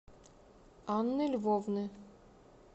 анны львовны